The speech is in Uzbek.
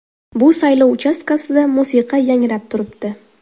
Bu saylov uchastkasida musiqa yangrab turibdi.